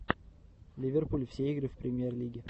ливерпуль все игры в премьер лиге